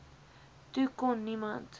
toe kon niemand